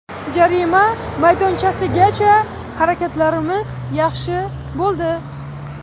Jarima maydonchasigacha harakatlarimiz yaxshi bo‘ldi.